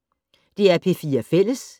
DR P4 Fælles